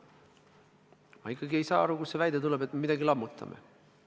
Ma ikkagi ei saa aru, kust see väide tuleb, et me midagi lammutame.